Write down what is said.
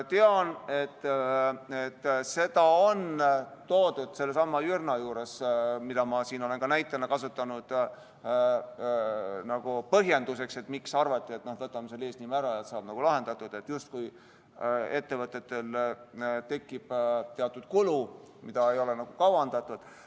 Tean, et seda on toodud sellesama Jürna puhul, mida ma siin olen ka näitena kasutanud, nagu põhjenduseks, miks arvati, et võtame eesnime ära ja kõik saab lahendatud, et justkui ettevõtetel tekib muidu teatud kulu, mida ei ole kavandatud.